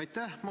Aitäh!